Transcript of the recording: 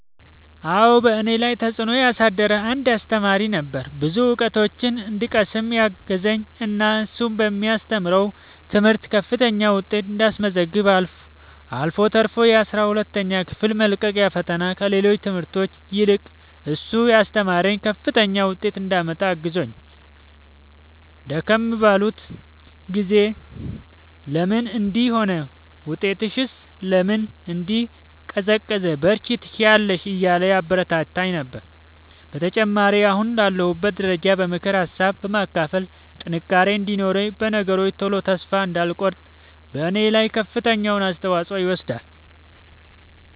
አዎ በእኔ ላይ ተፅእኖ ያሳደረ አንድ አሰተማሪ ነበረ። ብዙ እውቀቶችን እንድቀስም ያገዘኝ እና እሱ በሚያስተምረው ትምህርት ከፍተኛ ውጤት እንዳስመዘግብ አልፎ ተርፎ የአስራ ሁለተኛ ክፍል መልቀቂያ ፈተና ከሌሎች ትምህርቶች ይልቅ እሱ ያስተማረኝን ከፍተኛ ውጤት እንዳመጣ አግዞኛል። ደከም ባልኩ ጊዜ ለምን እንዲህ ሆነ ውጤትሽስ ለምን እንዲህ ቀዘቀዘ በርቺ ትችያለሽ እያለ ያበረታታኝ ነበረ። በተጨማሪም አሁን ላለሁበት ደረጃ በምክር ሀሳብ በማካፈል ጥንካሬ እንዲኖረኝ በነገሮች ቶሎ ተስፋ እንዳልቆርጥ በኔ ላይ ከፍተኛውን አስተዋፅኦ ይወስዳል።